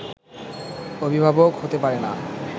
অভিভাবক হতে পারেনা